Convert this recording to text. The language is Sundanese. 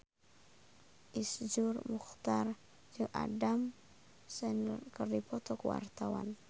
Iszur Muchtar jeung Adam Sandler keur dipoto ku wartawan